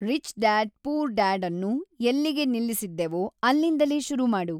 rich dad poor dad ಅನ್ನು ಎಲ್ಲಿಗೆ ನಿಲ್ಲಿಸಿದ್ದೆವೋ ಅಲ್ಲಿಂದಲೇ ಶುರು ಮಾಡು